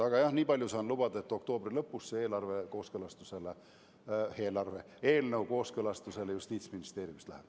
Aga jah, nii palju saan lubada, et oktoobri lõpus see eelnõu Justiitsministeeriumist kooskõlastamisele läheb.